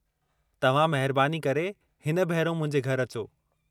तव्हां महिरबानी करे हिन भेरो मुंहिंजे घरि अचो.